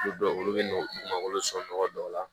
Olu dɔw olu bɛ malo sɔrɔ nɔgɔ dɔw la